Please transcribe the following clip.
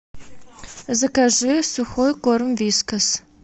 закажи сухой корм вискас